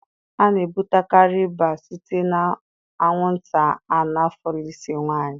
A na-ebutekarị ịba site na anwụnta Anọfelịsị nwanyị